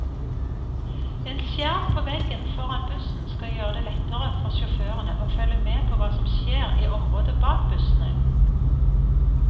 En skjerm på veggen foran bussen skal gjøre det lettere for sjåførene å følge med på hva som skjer i området bak bussene.